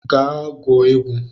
Gaa gwuo egwu!